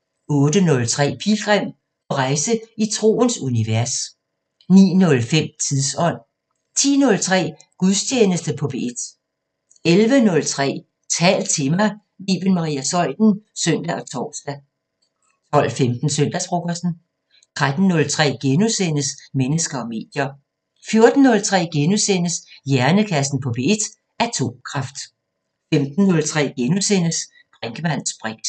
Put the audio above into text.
* 08:03: Pilgrim – på rejse i troens univers 09:05: Tidsånd 10:03: Gudstjeneste på P1 11:03: Tal til mig – med Iben Maria Zeuthen (søn og tor) 12:15: Søndagsfrokosten 13:03: Mennesker og medier * 14:03: Hjernekassen på P1: Atomkraft * 15:03: Brinkmanns briks *